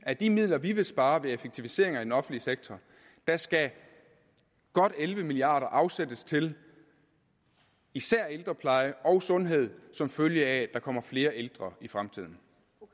af de midler vi vil spare ved effektiviseringer i den offentlige sektor skal godt elleve milliard kroner afsættes til især ældrepleje og sundhed som følge af at der kommer flere ældre i fremtiden